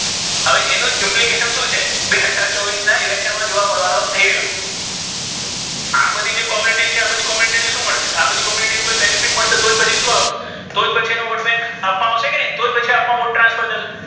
હવે ઍનુ જ implication શુ છે તે બે હજાર ચોવીસ ના election મા જોવા મળવાનુ થઈ રહ્યુ છે આ બધી જે community છે આ બધી community ને શુ મળશે આ બધી community ને કોઇ benefit મળશે તો જ ઍનો vote bank આપવા આવશે કે નહી તો જ પછી આપનો vote transfer જશે ને!